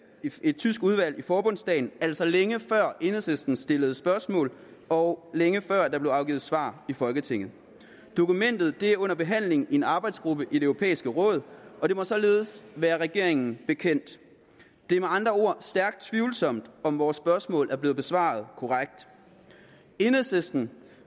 et tysk udvalg i forbundsdagen altså længe før enhedslisten stillede spørgsmål og længe før der blev afgivet svar i folketinget dokumentet er under behandling i en arbejdsgruppe i det europæiske råd og det må således være regeringen bekendt det er med andre ord stærkt tvivlsomt om vores spørgsmål er blevet besvaret korrekt enhedslisten